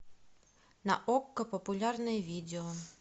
на окко популярное видео